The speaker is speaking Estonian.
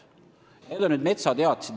Jutt on metsateatistest.